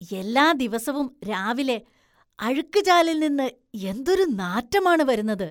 എല്ലാ ദിവസവും രാവിലെ അഴുക്കുചാലിൽ നിന്ന് എന്തൊരു നാറ്റമാണ് വരുന്നത്.